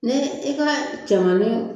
Ni i ka cɛmani